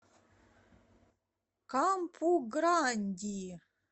кампу гранди